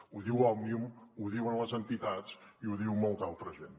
ho diu òmnium ho diuen les entitats i ho diu molta altra gent